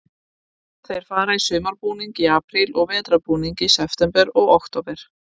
Þeir fara í sumarbúning í apríl og vetrarbúning í september og október.